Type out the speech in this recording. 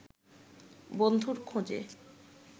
বন্ধুর খোঁজে